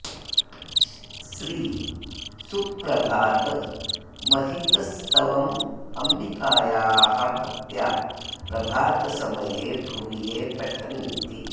श्री सुप्रभातमहित स्तवमम्बिकायाः भक्त्या प्रभातसमये भुवि ये पठन्ति